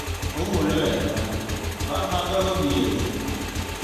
ũguo nĩ wega. ũrabanga gũthiĩ rĩ?